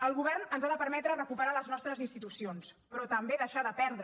el govern ens ha de permetre recuperar les nostres institucions però també deixar de perdre